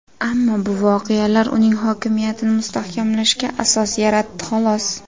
Ammo bu voqealar uning hokimiyatini mustahkamlashga asos yaratdi xolos.